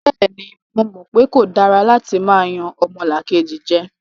Bẹ́ẹ̀ni, mo mọ̀ pe kò dára látí máa yan ọmọlàkejì jẹ.